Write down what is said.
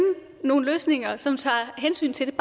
nogle løsninger som tager hensyn til det